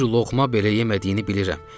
Bir loğma belə yemədiyini bilirəm.